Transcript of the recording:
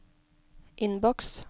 innboks